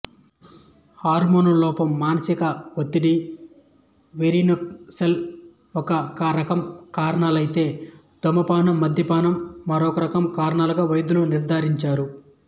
హార్మోన్ల లోపం మానసిక ఒత్తిడి వెరికోసిల్ ఒక రకం కారణాలు ఐతే ధూమపానం మద్యపానం మరోరకం కారణాలుగా వైద్యులు నిర్ధారించారు